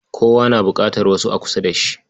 Kowa na buƙatar wasu a kusa da shi.